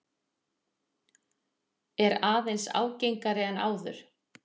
Er aðeins ágengari en áður.